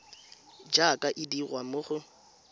jaaka e dirwa mo go